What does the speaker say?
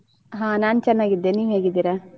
ಹಾ ನಾನ್ ಚೆನ್ನಾಗಿದ್ದೇನೆ ನೀವ್ ಹೇಗಿದ್ದೀರಾ?